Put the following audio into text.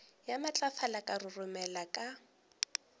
ya matlafala ka roromela ka